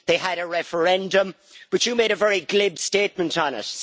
They had a referendum, but you made a very glib statement on it.